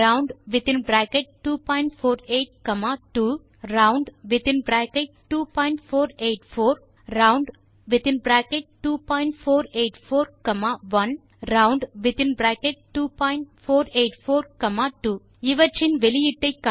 round248 2 round2484 round2484 1 round2484 2 இன் வெளியீட்டை காண்க